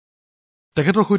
আহক তেওঁৰ সৈতে কথা পাতো